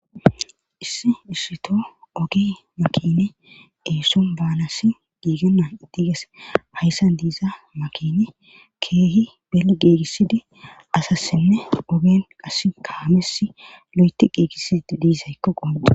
Issi issito ogi makine eesson baanasi giigenna iddiges hayssan diiza makine keehi beli geegissidi asassenne ogen qas kahames lo.ete geegisidi diisaykko goonto.